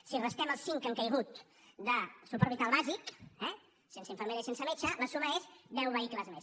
si restem els cinc que han caigut de suport vital bàsic eh sense infermera i sense metge la suma és deu vehicles més